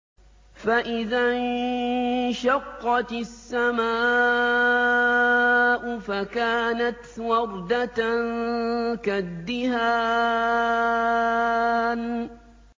فَإِذَا انشَقَّتِ السَّمَاءُ فَكَانَتْ وَرْدَةً كَالدِّهَانِ